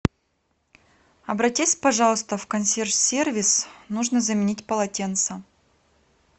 обратись пожалуйста в консьерж сервис нужно заменить полотенца